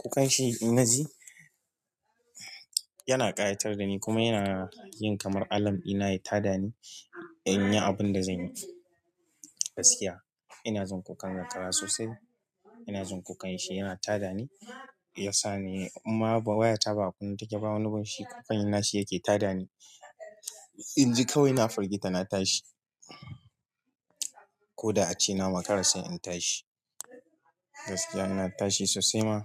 kukan shi inna ji, yana ƙayatar da ni kuma yana yin kamar alam ɗina ya tada ni in yi abun da zanyi. Gaskiya ina jin kukan zakara sosai. Ina jin kukan shi yana tada ni, yasa ni inma ba wayata ba a kunne take ba wani bin shi kukan na shi yake tada ni. In ji kawai ina firgita na tashi. Ko da a ce na makara sai in tashi. Gaskiya na tashi sosai ma.